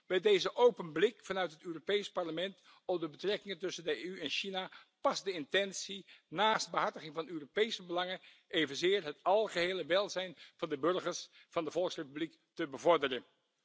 Bij deze open blik vanuit het Europees Parlement op de betrekkingen tussen de EU en China past de intentie om, naast het behartigen van de Europese belangen, ook het algehele welzijn van de burgers van de Volksrepubliek te bevorderen.